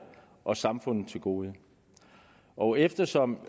og samfundet til gode og eftersom